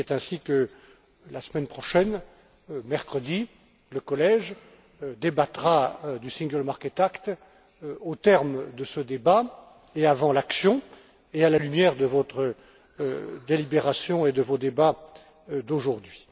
Et c'est ainsi que, la semaine prochaine, mercredi, le Collège débattra du single market act au terme de ce débat, et avant l'action, et à la lumière de votre délibération et de vos débats d'aujourd'hui.